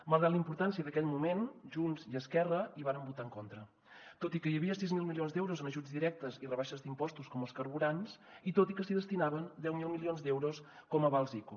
malgrat la importància d’aquell moment junts i esquerra hi varen votar en contra tot i que hi havia sis mil milions d’euros en ajuts directes i rebaixes d’impostos com als carburants i tot i que s’hi destinaven deu mil milions d’euros com a avals ico